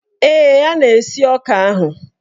Ee, a na-esi ọka ahụ.